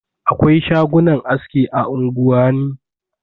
Akwai shagunan aski a unguwani.